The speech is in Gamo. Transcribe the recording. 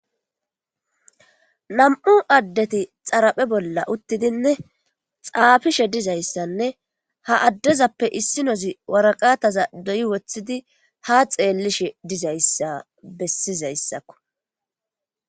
nam7u addeti xaraphe bolla uttidinne xaafishe dizayssanne ha addezappe issi nozi waraqataza doyi woththidi ha xeellishe dizayssa bessizayssakko